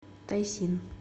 тайсин